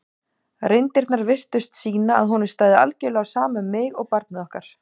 reyndirnar virtust sýna að honum stæði algjörlega á sama um mig og barnið okkar.